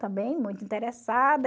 Também muito interessada.